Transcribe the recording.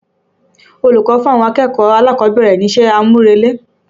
Olùkọ́ fún àwọn akẹ̀kọ̀ọ́ alákọ̀ọ́bẹ̀rẹ̀ ní iṣẹ́ àmúrelé.